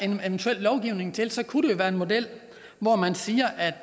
en eventuel lovgivning til kunne det være en model hvor man siger at